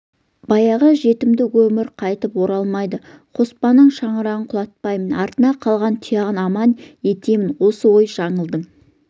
баяғы жетімдік өмір қайтып оралмайды қоспанның шаңырағын құлатпаймын артында қалған тұяғын адам етемін осы ой жаңылдың